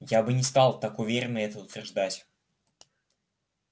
я бы не стал так уверенно это утверждать